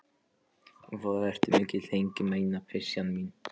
Voðalega ertu mikil hengilmæna, pysjan mín.